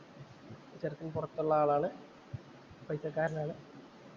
ചെറുക്കന്‍ പൊറത്തുള്ള ആളാണ്. പൈസക്കാരന്‍ ആണ്.